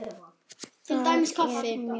Þetta er mjög gaman.